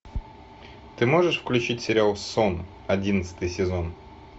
ты можешь включить сериал сон одиннадцатый сезон